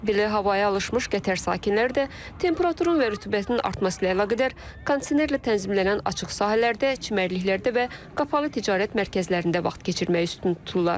Belə havaya alışmış Qətər sakinləri də temperaturun və rütubətin artması ilə əlaqədar kondisionerlə tənzimlənən açıq sahələrdə, çimərliklərdə və qapalı ticarət mərkəzlərində vaxt keçirməyi üstün tuturlar.